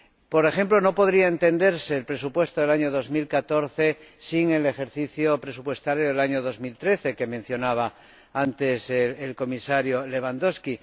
Por ejemplo, no podría entenderse el presupuesto del año 2014 sin el ejercicio presupuestario del año 2013 que mencionaba antes el Comisario Lewandowski